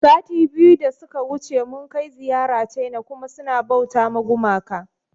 Sati biyu da suka wuce mun kai ziyara ciana kuma suna bauta ma gumaka